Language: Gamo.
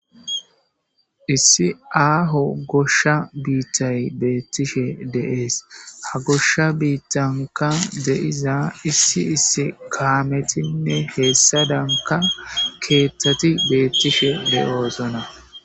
issi aaho gosha biittay beettishe deees ha gosha biittanka de7iza issi issi kaametinne heessa danka keeththati beettishe be7oosona